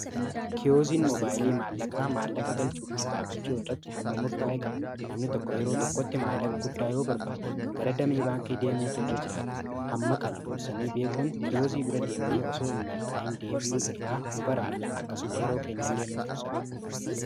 kiyooziin mobaayilii maallaqaa maallaqa galchuu fi baafachuu irratti hamma murtaa'ee qaba namni tokko yeroo tokkotti maallaqa guddaa yoo barbaade gara damee baankii deemuutu irra jiraata hamma kan duursanii beekuun kiyoozii bira deemnee osoo in malkaa'iin deebiyuu irraa nu baraara akkasuma yeroo keenya illee nuuf quusaata